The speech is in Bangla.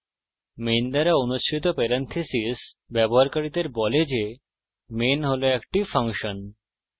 main দ্বারা অনুসৃত parenthesis ব্যবহারকারীদের বলে যে main হল একটি ফাংশন